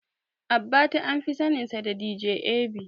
Abbati anfi saninsa da "DJ A.B".